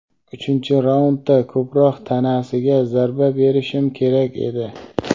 uchinchi raundda ko‘proq tanasiga zarba berishim kerak edi.